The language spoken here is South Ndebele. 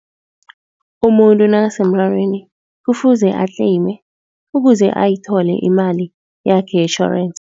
Umuntu nakasemrarweni kufuze atleyime ukuze ayithole imali yakhe yetjhorensi.